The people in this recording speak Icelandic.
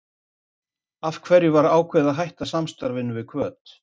Af hverju var ákveðið að hætta samstarfinu við Hvöt?